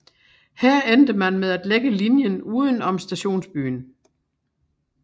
Her endte man med at lægge linjen udenom stationsbyen